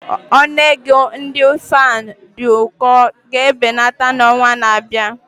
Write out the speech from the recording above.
Ọnụ ego ndị fan n'uko ga-ebelata n'ọnwa na-abịa.